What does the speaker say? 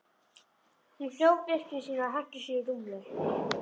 Hún hljóp upp til sín og henti sér í rúmið.